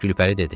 Gülpəri dedi: